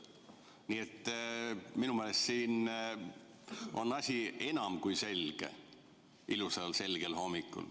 Nii et minu meelest on asi enam kui selge ilusal selgel hommikul.